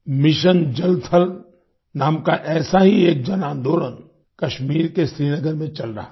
mission जल थल नाम का ऐसा ही एक जनआंदोलन कश्मीर के श्रीनगर में चल रहा है